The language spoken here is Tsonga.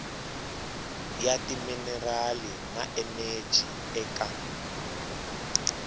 ya timinerali na eneji eka